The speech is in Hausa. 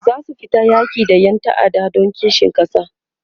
zasu fita yaki da Ƴan ta'adda Dan kishin kasa